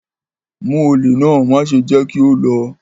Mu ole náà, maṣe jẹ ki o lọ!